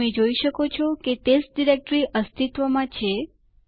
તમને પાસવર્ડ માટે પૂછવામાં આવશે